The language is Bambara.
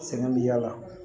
Sɛgɛn bi y'a la